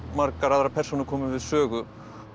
margar aðrar persónur komi við sögu